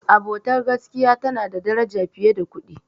Abota ta gaskiya tana da daraja fiye da kuɗi.